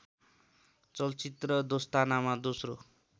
चलचित्र दोस्तानामा दोस्रो